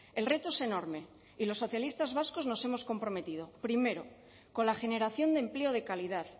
el reto es enorme y los socialistas vascos nos hemos comprometido primero con la generación de empleo de calidad